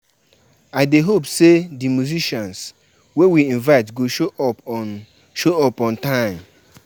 Some young pipo dey challenge um tradition, but e still dey important for many.